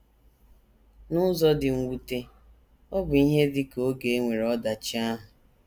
N’ụzọ dị mwute, ọ bụ ihe dị ka oge e nwere ọdachi ahụ.